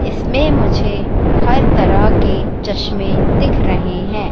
इसमें मुझे हर तरह के चश्मे दिख रहे हैं।